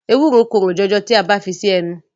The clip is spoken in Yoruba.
Ewúro korò jọjọ tí a bá fi sí ẹnu.